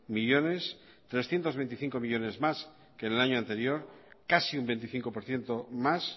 millónes trescientos veinticinco millónes más que en el año anterior casi un veinticinco por ciento más